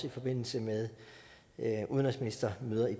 i forbindelse med udenrigsministermøder i